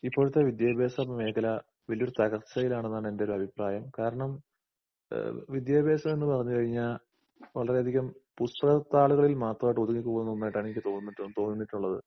ഇപ്പോഴത്തെ വിദ്യാഭാസമേഖലാ വല്ല്യൊരു തകർച്ചിയിലാണെന്നാണ് എന്റൊരഭിപ്രായം. കാരണം ഏഹ് വിദ്യാഭാസം എന്നുപറഞ്ഞുകഴിഞ്ഞാ വളരെയധികം പുസ്തകത്താളുകളിൽ മാത്രമായിട്ട് ഒതുങ്ങിക്കൂടുന്ന ഒന്നായിട്ടാണ് എനിക്ക് തോന്നിട്ട് തോന്നീട്ടുള്ളത്.